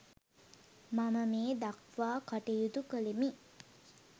මම මේ දක්වා කටයුතු කළෙමි.